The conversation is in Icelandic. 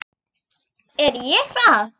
Er ég það?